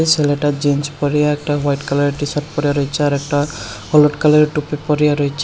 ছেলেটা জিন্স পরিয়া একটা হোয়াইট কালার -এর টি শার্ট পরিয়া রইছে আরেকটা হলুদ কালার -এর টুপি পরিয়া রইছে।